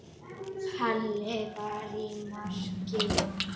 Halli var í marki.